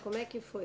Como é que foi?